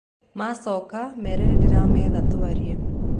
Macoka mere nĩndĩrametha twarie.